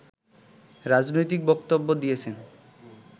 রাজনৈতিক বক্তব্য দিয়েছেন